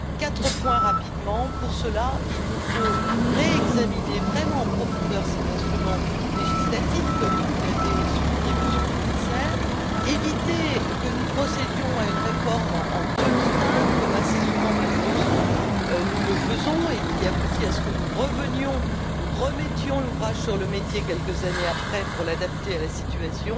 Quatre points rapidement pour cela, il nous faut réexaminer vraiment en profondeur cet instrument législatif comme vous l'avez souligné, Monsieur le commissaire éviter que nous procédions à une réforme en demi teinte, comme assez souvent, malheureusement, nous le faisons et qui aboutit à ce que nous remettions l'ouvrage sur le métier, quelques années après, pour l'adapter à la situation.